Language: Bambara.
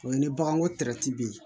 O ye ni bagan ko bɛ yen